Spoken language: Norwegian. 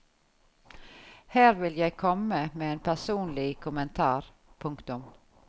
Her vil jeg komme med en personlig kommentar. punktum